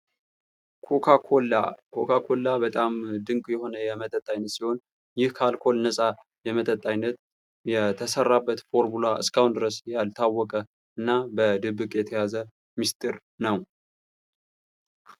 ኮካኮላ:-ኮካኮላ በጣም ድንቅ የሆነ የመጠጥ አይነት ሲሆን, ይህ ከአልኮል ነጻ የመጠጥ አይነት የተሰራበት ፎርሙላ እስካሁን ድረስ ያልታወቀ እና በድብቅ የተያዘ ሚስጥር ነው።